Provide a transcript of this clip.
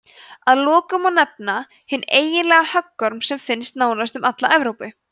að lokum má nefna hinn eiginlega höggorm sem finnst nánast um alla evrópu